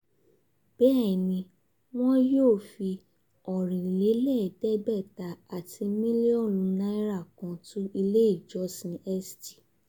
bẹ́ẹ̀ ni wọn yóò fi ọ̀rìnléláẹ̀ẹ́dẹ́gbẹ̀ta àti mílíọ̀nù náírà kan tún ilé ìjọsìn st